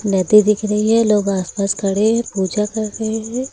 नदी दिख रही है लोग आसपास खड़े हैं पूजा कर रहे हैं।